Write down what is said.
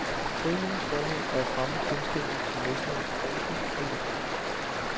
Foreningens formål er at fremme kendskabet til mesterens prosa og lyrik.